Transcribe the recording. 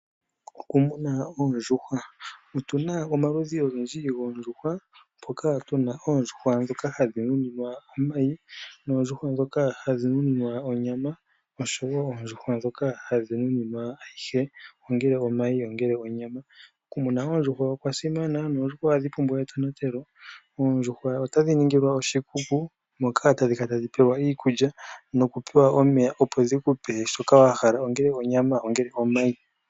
Okumuna oondjuhwa, otuna omaludhi ogendji goondjuhwa mpoka tuna oondjuhwa ndhoka hadhi nuninwa omayi, noondjuhwa ndhoka nuninwa onyama noshowo oondjuhwa ndhoka hadhi nuninwa ayihe ongele onyami nomayi. Oku muna oondjuhwa okwa simana noondjuhwa ohadhi pumbwa etonatelo. Oondjuhwa otadhi ningilwa oshikunino hoka hadhi pelwa iikulya oshowo omeya opo dhili pe shoka wahala ongele onyama ongele omayi.